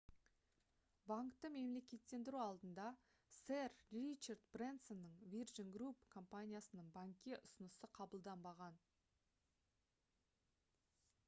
банкты мемлекеттендіру алдында сэр ричард брэнсонның virgin group компаниясының банкке ұсынысы қабылданбаған